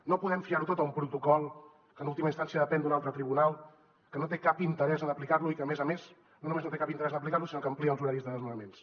no podem fiar ho tot a un protocol que en última instància depèn d’un altre tribunal que no té cap interès en aplicar lo i que a més a més no només no té cap interès en aplicar lo sinó que amplia els horaris de desnonaments